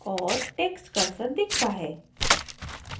और text cursor दिखता है